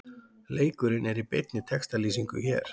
Leikurinn er í beinni textalýsingu hér